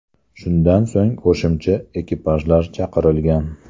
Shundan so‘ng qo‘shimcha ekipajlar chaqirilgan.